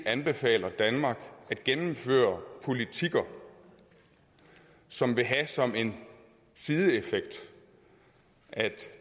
anbefaler danmark at gennemføre politikker som vil have som en sideeffekt at